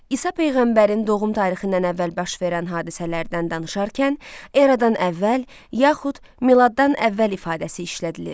İsa peyğəmbərin doğum tarixindən əvvəl baş verən hadisələrdən danışarkən, eradan əvvəl yaxud miladdan əvvəl ifadəsi işlədilir.